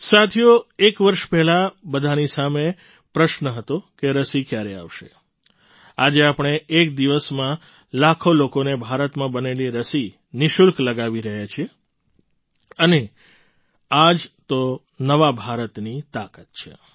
સાથીઓ એક વર્ષ પહેલાં બધાની સામે પ્રશ્ન હતો કે રસી ક્યારે આવશે આજે આપણે એક દિવસમાં લાખો લોકોને ભારતમાં બનેલી રસી નિઃશુલ્ક લગાવી રહ્યા છીએ અને આ જ તો નવા ભારતની તાકાત છે